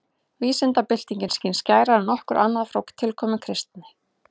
Vísindabyltingin skín skærar en nokkuð annað frá tilkomu kristni.